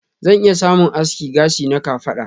Zan iya samun aski gashi na kafada.